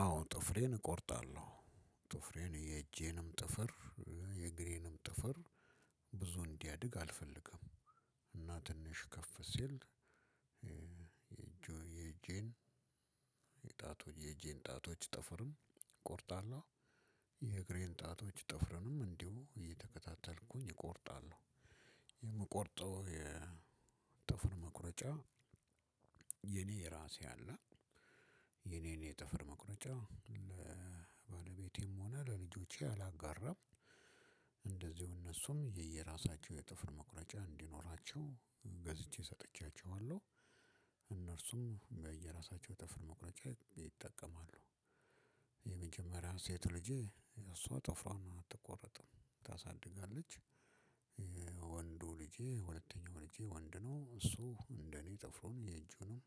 አዎ ጥፍሬን እቆርጣለሁ። ጥፍሬን የእጀንም ጥፍር፣ የእግሬንም ጥፍር ብዙ እንዲያድግ አልፈልግም። እና ትንሽ ከፍ ሲል የእጀን እጣቶች ጥፍርም እቆርጣለሁ። የእግሬን ጣቶች ጥፍርንም እንዲሁ እየተከታተልኩኝ እቆርጣለሁ። የምቆርጠው የጥፍር መቁረጫ የኔ ራሴ አለ። የኔን የጥፍር መቁረጫ ለባለቤቴም ሆነ ለልጆቼ አላጋራም። እንደዚሁ እነሱም የየራሳቸው የጥፍር መቁረጫ እንዲኖራቸው ገዝቼ ሰጥቻቸዋለሁ። እነርሱም በየራሳቸው ጥፍር መቁረጫ ይጠቀማሉ። የመጀመሪያ ሴት ልጄ እሷ ጥፍሯን አትቆርጥም፣ ታሳድጋለች። ወንዱ ልጄ ሁለተኛው ልጄ ወንድ ነው። እሱ እንደኔ ጠፍሩን የእጁንም፣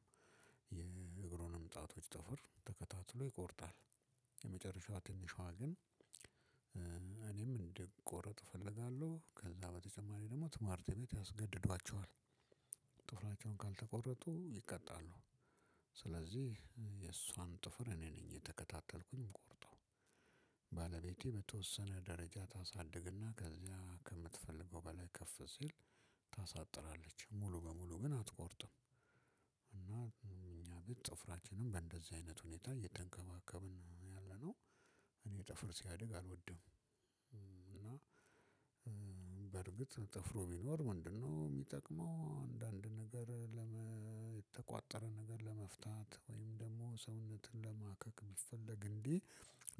የእግሩንም ጣቶች ጥፍር ተከታትሎ ይቆርጣል። የመጨረሻ ትንሿ ግን እኔም እንድትቆረጥ እፈልጋለሁ፣ ከዛ በተጨማሪ ደግሞ ትምህርት ቤት ያስገድዷቸዋል። ጥፍራቸውን ካልተቆረጡ ይቀጣሉ። ስለዚህ የእሷን ጥፍር እኔ ነኝ የተከታተልኩኝ ምቆርጠው። ባለቤቴ በተወሰነ ደረጃ ታሳድግና ከዚያ ከምትፈልገው በላይ ከፍ ሲል ታሳጥራለች። ሙሉ በሙሉ ግን አትቆርጥም። እና እኛ ጥፍራችንን በእንደዚህ አይነት ሁኔታ እየተንከባከብን ነው ያለነው። እኔ ጥፍር ሲያድግ አልወድም። እና በእርግጥ ጥፍሪ ቢኖር ምንድነው የሚጠቅመው አንዳንድ ነገር የተቋጠረ ነገር ለመፍታት ወይም ደግሞ ሰውነትን ለማከክ ቢፈለግ እንግዲህ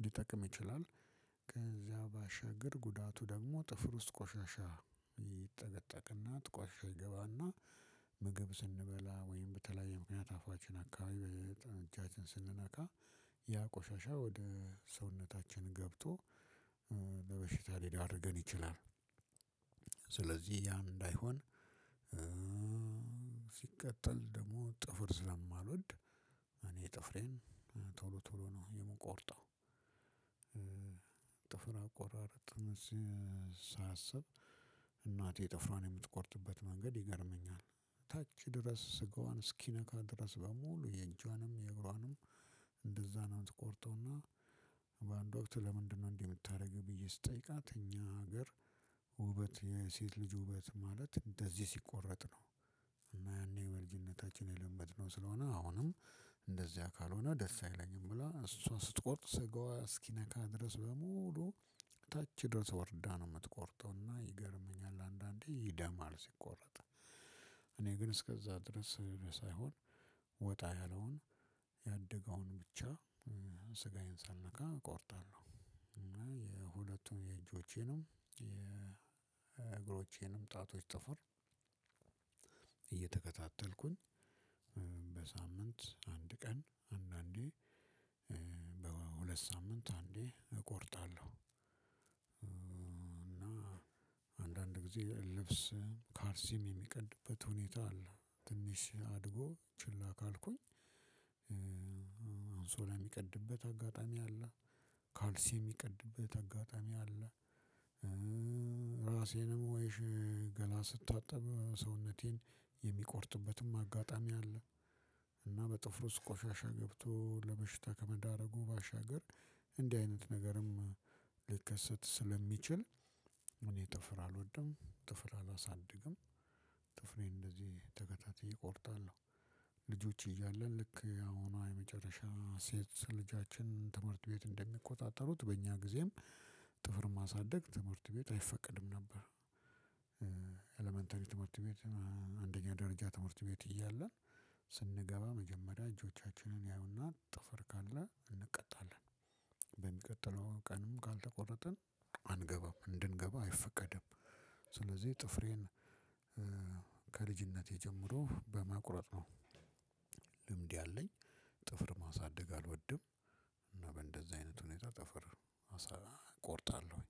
ሊጠቅም ይችላል። ከዚያ ባሻገር ጉዳቱ ደግሞ ጥፍር ውስጥ ቆሻሻ ይጠቀጠቅና ቆሻሻ ይገባና ምግብ ስንበላ ወይም በተለያየ ምክንያት አፋችን አካባቢ በጣም እጃችን ስንነካ ያ ቆሻሻ ወደ ሰውነታችን ገብቶ ለበሽታ ሊዳርገን ይትላል ሲቀጥል ደግሞ ጥፍር ስለማልወድ እኔ ጥፍሬን ቶሎ ቶሎ የው የምቆርጠው ጥፍር አቆራርጥን ሳስብ እናቴ ጥፍሮአን እምትቆርጥበት መንገድ ይገርመኛል ታች ድረስ ስጋዋን እስከምት ነካ ድረስ ሙሉ የእጆንም የእግሩአንም እንደዛ ነው የምት ቆርጠው እና በአንድ ወቅት ለምንድን ነው እንደዚህ እምታደርጊው ብየ ስጠይቃት እኛ ሀገር ወበት የሴት ልጂ ውበት ማለት እንደዚህ ሲቆረጥ ነው እና ያኔ የመልጅነታችን የለመድነው ስለሆነ አሁንም እንደዚያ ካልሆነ ደስ አይለኝም ብላ እሷ ስትቆጥ ስጋዋ እስኪነካ ድረስ በሙሉ ታች ድረስ ወርዳ ነው እምትቆርጠው እና ይገርመኛል አንዳንዴ ይደማል ሲቆረጥ እኔ ግን እስከዛ ድረስ ሳይሆን ወጣ ያለውን ያደገውን ብቻ ስጋዬን ሳልነካ እቆርጣለሁ እና የሁለቱን የእጆቼንም የእግሮቼንም ጣቶች ጥፍር እየተከታተልኩኝ በሳምንት አንድ ቀን አንዳንዴ በሁለት ሳምንት አንዴ እቆርጣለሁ እና አንዳንድ ጊዜ ልብስም ካልሲም የሚቀድበት ሁኔታ አለ ትንሽ አድጎ ችላ ካልኩኝ አንሶላ እሚቀድበት አጋጣሚ አለ ካልሲ የሚቀድበት አጋጣሚ አለ ራሴንም ወይ ገላ ስታጠብ ሰውነቴንም የሚቆርጥበትም አጋጣሚ አለ እና በጥፍሩ ውስጥ ቆሻሻ ገብቶ ለበሽታ ከመዳረጉ ባሻገር እንዲህ አይነት ነገርም ሊከሰት ስለሚችል እኔ ጥፍር አልወድም ጥፍር አላሳድግም ጥፍሬን እንደዚህ ተከታትየ እቆርጣለሁ ልጆች እያለን ልክ የአሁኗ የመጨረሻ ሴት ልጃችን ትምህርት ቤት እንደሚቆጣጠሩት በእኛ ጊዜም ጥፍር ማሳደግ ትምህርት ቤት አይፈቀድም ነበር ኤለመንተሪ ትምህርት ቤት አንደኛ ደረጃ ትምህርት ቤት እያለን ስንገባ መጀመሪያ እጆቻችንን ያዩና ጥፍር ካለ እንቀጣለን በሚቀጥለው ቀንም ካልተቆረጥን አንገባም እንድንገባ አይፈቀድም ስለዚህ ጥፍሬን ከልጅነቴ ጀምሮ በማቁረጥ ነው ልምድ ያለኝ ጥፍር ማሳደግ አልወድም እና በእንደዚህ አይነት ሁኔታ ጥፍር እቆርጣለሁኝ